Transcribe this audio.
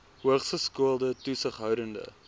hoogs geskoolde toesighoudende